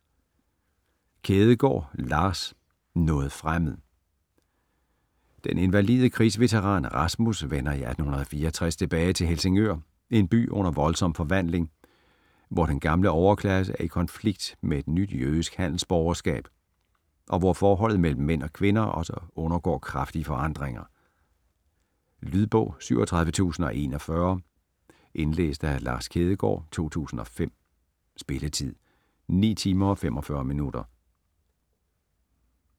Kjædegaard, Lars: Noget fremmed Den invalide krigsveteran Rasmus vender i 1864 tilbage til Helsingør, en by under voldsom forvandling, hvor den gamle overklasse er i konflikt med et nyt jødisk handelsborgerskab, og hvor forholdet mellem mænd og kvinder også undergår kraftige forandringer. Lydbog 37041 Indlæst af Lars Kjædegaard, 2005. Spilletid: 9 timer, 45 minutter.